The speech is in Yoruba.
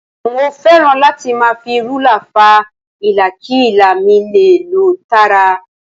Mo fẹ́ràn láti máa fi rúlà fa ilà kí ilà mi lè lọ tààrà